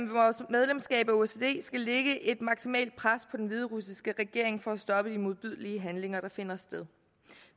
vores medlemskab af osce skal lægge et maksimalt pres på den hviderussiske regering for at stoppe de modbydelige handlinger der finder sted